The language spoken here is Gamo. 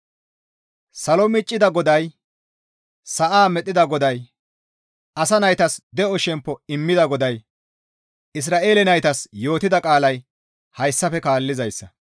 Salo miccida GODAY, sa7a medhdhida GODAY asa naytas de7o shemppo immida GODAY Isra7eele naytas yootida qaalay hayssafe kaallizayssa;